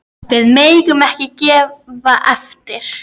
Við megum ekki gefa eftir.